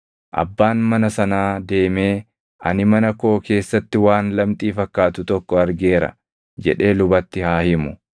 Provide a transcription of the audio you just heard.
abbaan mana sanaa deemee, ‘Ani mana koo keessatti waan lamxii fakkaatu tokko argeera’ jedhee lubatti haa himu.